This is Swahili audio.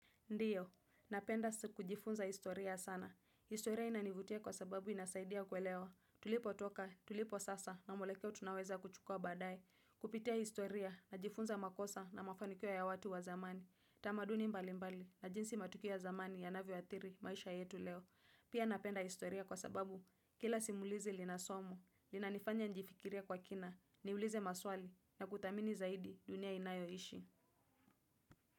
Ndiyo, napenda kujifunza historia sana. Historia inanivutia kwa sababu inasaidia kuelewa. Tulipotoka tulipo sasa na mwelekeo tunaoweza kuchukua baadae kupitia historia najifunza makosa na mafanikio ya watu wa zamani. Tamaduni mbalimbali na jinsi matukio ya zamani yanavyoathiri maisha yetu leo. Pia napenda historia kwa sababu kila simulizi lina somo linanifanya nijifikirie kwa kina niulize maswali na kuthamini zaidi dunia inayoishi.